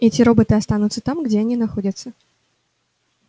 эти роботы останутся там где они находятся